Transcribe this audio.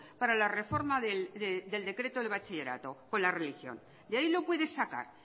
para la reforma del decreto del bachillerato con la religión de ahí lo puede sacar